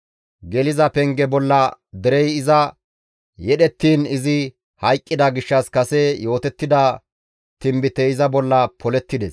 Geliza penge bolla derey iza yedhettiin izi hayqqida gishshas kase yootettida tinbitey iza bolla polettides.